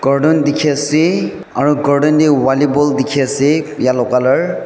carton dikhi ase aro carton de volley ball dikhi ase yellow color .